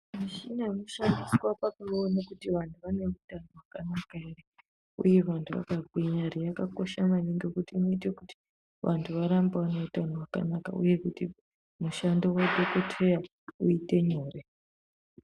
Muchini inoshandiswa pakuona kuti vantu vane utano hwakanaka here uye vantu vakagwinya ere yakakosha maningi ngekuti inoite kuti vantu varambe vane utano hwakanaka uye kuti mushando wadhokodheya uite nyore.